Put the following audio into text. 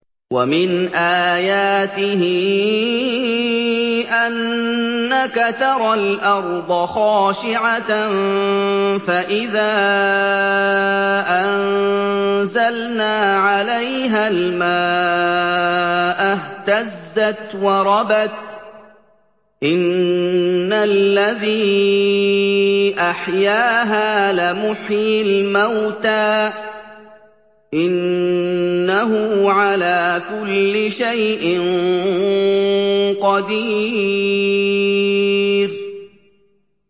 وَمِنْ آيَاتِهِ أَنَّكَ تَرَى الْأَرْضَ خَاشِعَةً فَإِذَا أَنزَلْنَا عَلَيْهَا الْمَاءَ اهْتَزَّتْ وَرَبَتْ ۚ إِنَّ الَّذِي أَحْيَاهَا لَمُحْيِي الْمَوْتَىٰ ۚ إِنَّهُ عَلَىٰ كُلِّ شَيْءٍ قَدِيرٌ